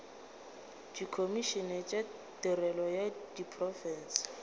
dikhomišene tša tirelo ya diprofense